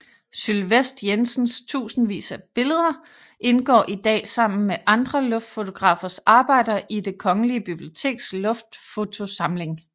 Sylvest Jensens tusindvis af billeder indgår i dag sammen med andre luftfotografers arbejder i Det Kongelige Biblioteks luftfotosamling